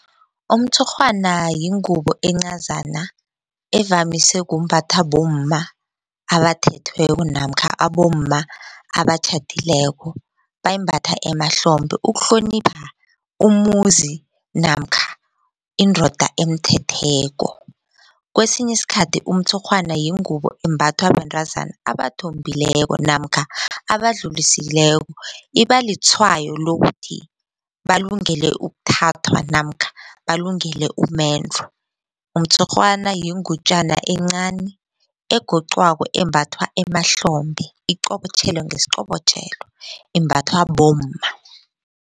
Umtshurhwana yingubo encazana evamise kumbathwa bomma abathethweko namkha abomma abatjhadileko bayimbatha emahlombe ukuhlonipha umuzi namkha indoda emthetheko. Kwesinye isikhathi umtshurhwana yingubo embathwa bantazana abathombekileko namkha abadlulisileko iba litshwayo lokuthi balungele ukuthathwa namkha balungele umendo. Umtshurhwana yingutjana encani egoqwako embathwa emahlombe iqobotjhelwe ngesiqobotjhelo imbathwa bomma.